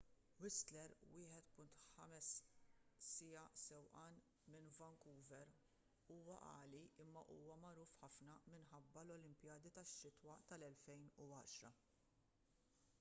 whistler 1.5 siegħa sewqan minn vancouver huwa għali imma huwa magħruf ħafna minħabba l-olimpijadi tax-xitwa tal-2010